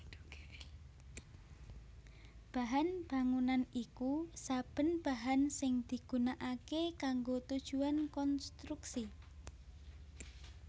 Bahan bangunan iku saben bahan sing digunakaké kanggo tujuan konstruksi